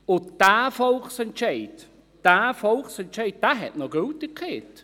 Und dieser Volksentscheid hat noch Gültigkeit.